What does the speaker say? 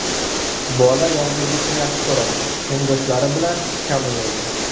Bola yolg‘izlikni yaxshi ko‘radi, tengdoshlari bilan kam o‘ynaydi.